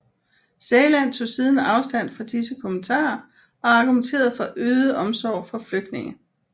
Sæland tog siden afstand fra disse kommentarer og argumenterede for øget omsorg for flygtninge